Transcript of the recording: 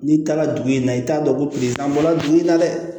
N'i taara dugu in na i t'a dɔn ko an bɔra dugu in na dɛ